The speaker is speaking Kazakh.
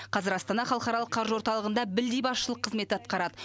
қазір астана халықаралық қаржы орталығында білдей басшылық қызметті атқарады